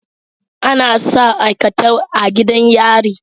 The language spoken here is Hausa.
Anasa aikatau a gidan yari